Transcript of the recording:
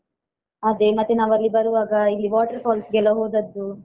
ಅದೇ ಮತ್ತೆ ನಾವಲ್ಲಿ ಬರುವಾಗ ಇಲ್ಲಿ water falls ಗೆಲ್ಲಾ ಹೋದದ್ದು.